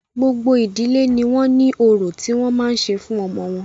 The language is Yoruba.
Gbogbo ìdílé ní wọ́n ní orò tí wọ́n máa ṣe fún ọmọ wọn.